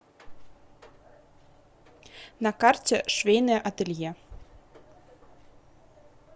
на карте швейное ателье